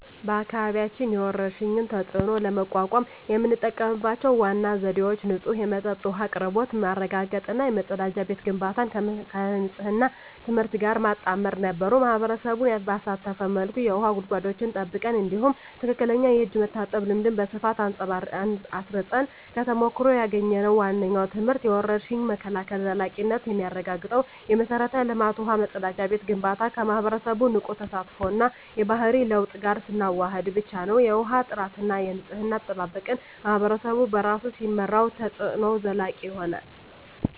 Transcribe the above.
በአካባቢያችን የወረርሽኝን ተፅዕኖ ለመቋቋም የተጠቀምንባቸው ዋና ዘዴዎች ንጹህ የመጠጥ ውሃ አቅርቦት ማረጋገጥ እና የመጸዳጃ ቤት ግንባታን ከንፅህና ትምህርት ጋር ማጣመር ነበሩ። ማኅበረሰቡን ባሳተፈ መልኩ የውሃ ጉድጓዶችን ጠብቀን፣ እንዲሁም ትክክለኛ የእጅ መታጠብ ልምድን በስፋት አስረፅን። ከተሞክሮ ያገኘነው ዋነኛው ትምህርት የወረርሽኝ መከላከል ዘላቂነት የሚረጋገጠው የመሠረተ ልማት (ውሃ፣ መጸዳጃ ቤት) ግንባታን ከማኅበረሰቡ ንቁ ተሳትፎ እና የባህሪ ለውጥ ጋር ስናዋህድ ብቻ ነው። የውሃ ጥራትና የንፅህና አጠባበቅን ማኅበረሰቡ በራሱ ሲመራው፣ ተፅዕኖው ዘላቂ ይሆናል።